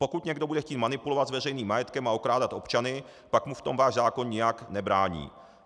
Pokud někdo bude chtít manipulovat s veřejným majetkem a okrádat občany, pak mu v tom váš zákon nijak nebrání.